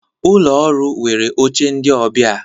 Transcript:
Ụlọ ọrụ nwere oche ndị ọbịa